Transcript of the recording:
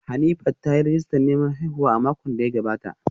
Hanifat ta yi rijistar neman haihuwa a makon da ya gabata